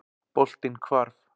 Boltinn hvarf.